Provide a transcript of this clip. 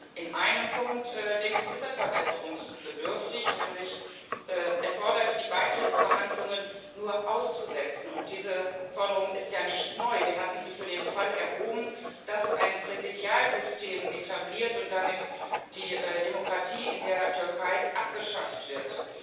Und in einem Punkt, denke ich, ist er verbesserungsbedürftig, nämlich er fordert, die Beitrittsverhandlungen nur auszusetzen, und diese Forderung ist ja nicht neu. Wir hatten sie für den Fall erhoben, dass ein Präsidialsystem etabliert und damit die Demokratie in der Türkei abgeschafft wird.